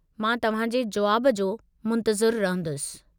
मां तव्हांजे जुवाब जो मुंतज़िरु रहंदुसि।